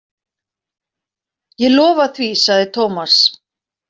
Ég lofa því sagði Thomas.